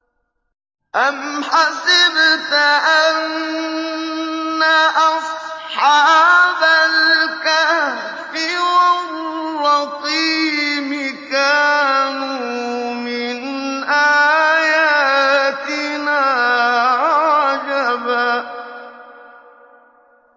أَمْ حَسِبْتَ أَنَّ أَصْحَابَ الْكَهْفِ وَالرَّقِيمِ كَانُوا مِنْ آيَاتِنَا عَجَبًا